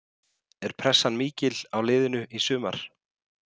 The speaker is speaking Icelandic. Er pressan mikil á liðinu í sumar?